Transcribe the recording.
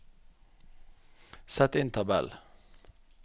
Sett inn tabell